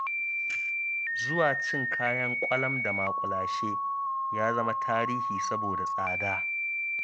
Zuwa cin kayan ƙwalam da muƙulashe ya zama tarihi, saboda tsada.